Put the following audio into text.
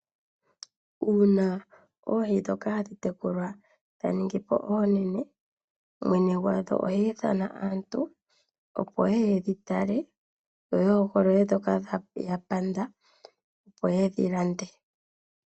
Uuna oohi ndhoka hadhi tekulwa, dha ningi po oonene, mwene gwadho ohi ithana aantu opo yeye yedhitale, yo ya hogolole ndhoka ya panda, opo yedhi lande.